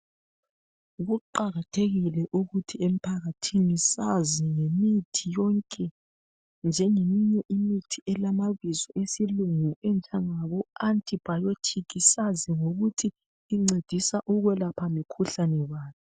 kuqakathekile ukuthi emphakathi sazi ngemithi yonke njengoba imithi elamabizo esilungu enjengabo antibiotics sazi ngokuthi incedisa ukwelapha mikhuhlane bani